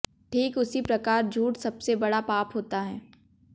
ठीक उसी प्रकार झूठ सबसे बड़ा पाप होता है